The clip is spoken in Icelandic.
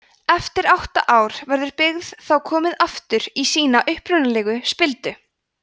eftir átta ár verður byggið þá komið aftur í sína upprunalegu spildu